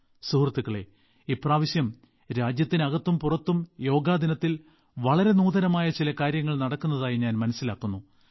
സുഹൃത്തുക്കളേ ഇപ്രാവശ്യം രാജ്യത്തിനകത്തും പുറത്തും യോഗാ ദിനത്തിൽ വളരെ നൂതനമായ ചില കാര്യങ്ങൾ നടക്കുന്നതായി ഞാൻ മനസ്സിലാക്കുന്നു